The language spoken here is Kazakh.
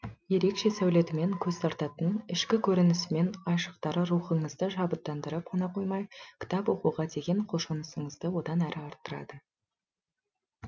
ерекше сәулетімен көз тартатын ішкі көрінісі мен айшықтары рухыңызды шабыттандырып қана қоймай кітап оқуға деген құлшынысыңызды одан әрі арттырады